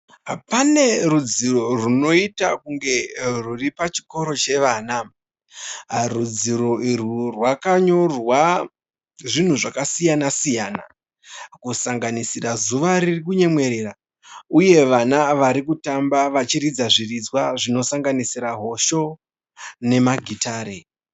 Pane rudziro rwunoita kunge rwuri pachikoro chevana. Rudziro urwu rwakanyorwa zvinhu zvakasiyana siyana kusanganisira zuva ririkunyemwerera. Uye vana varikutamba vachiridza zviridzwa zvinosanganisira hosho nemagitare.